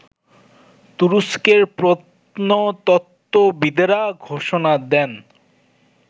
তুরস্কের প্রত্নতত্ত্ববিদেরা ঘোষণা দেন